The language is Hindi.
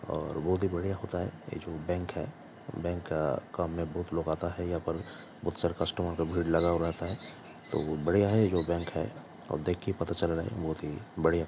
और बहुत ही बढ़िया होता है ए जो बैंक है | बैंक काम में बहुत लोग आता है यहां पर बोहोत सारे कस्टमर का भीड़ लगा हुआ रहता है तो बढ़ियां है यह जो बैंक है और देखकर ही पता चल रहा है बोहोत ही बढ़िया --